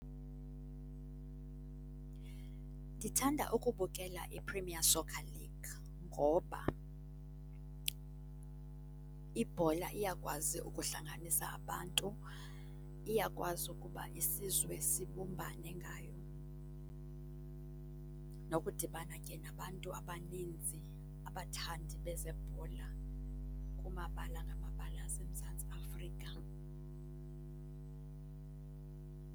Ndithanda ukubukela iPremier Soccer League ngoba ibhola iyakwazi ukuhlanganisa abantu. Iyakwazi ukuba isizwe sibumbane ngayo, nokudibana ke nabantu abaninzi, abathandi bezebhola kumabala ngamabala aseMzantsi Afrika.